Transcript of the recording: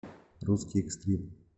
русский экстрим